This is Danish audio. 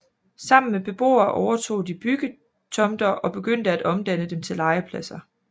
Sammen med beboere overtog de byggetomter og begyndte at omdanne dem til legepladser